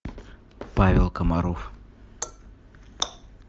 павел комаров